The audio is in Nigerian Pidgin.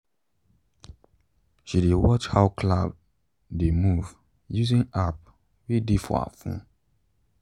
she dey watch how cloud dey move using app way dey for her phone.